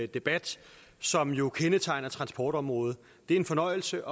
debat som jo kendetegner transportområdet det er en fornøjelse